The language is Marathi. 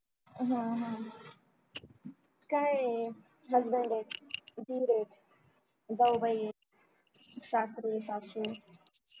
हम्म हम्म काय आहे husband आहे दीर आहे जावबाई आहे सासरे सासू